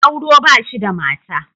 Gwauro ba shi da mata.